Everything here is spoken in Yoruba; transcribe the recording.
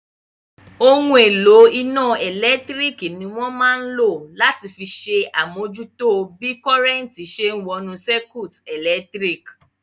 Ohun èlò iná ẹ̀lẹ́tírík ní wọ́n máa n lò láti fi ṣe àmújútó bí kọ́nrẹ́ntì ṣe wọnú sáíkúùtì ẹlẹtíríkì